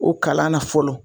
O kalan na fɔlɔ